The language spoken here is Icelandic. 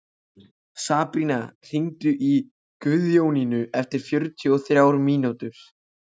Sabrína, hringdu í Guðjóníu eftir fjörutíu og þrjár mínútur.